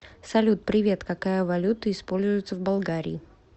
салют привет какая валюта используется в болгарии